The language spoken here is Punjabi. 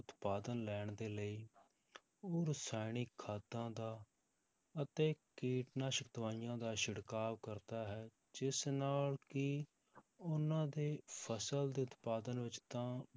ਉਤਪਾਦਨ ਲੈਣ ਦੇ ਲਈ ਉਹ ਰਸਾਇਣਿਕ ਖਾਦਾਂ ਦਾ ਅਤੇ ਕੀਟਨਾਸ਼ਕ ਦਵਾਈਆਂ ਦਾ ਛਿੜਕਾਵ ਕਰਦਾ ਹੈ, ਜਿਸ ਨਾਲ ਕਿ ਉਹਨਾਂ ਦੇ ਫਸਲ ਦੇ ਉਤਪਾਦਨ ਵਿੱਚ ਤਾਂ